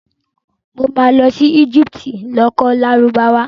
Mo ma lọ sí Egypt lọ kọ́ Lárúbáwá